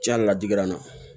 Diɲɛ ladigira n na